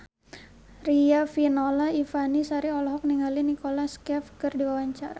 Riafinola Ifani Sari olohok ningali Nicholas Cafe keur diwawancara